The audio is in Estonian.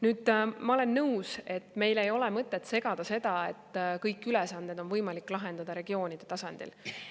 Nüüd, ma olen nõus, et meil ei ole mõtet seda, et kõik ülesanded on võimalik lahendada regioonide tasandil.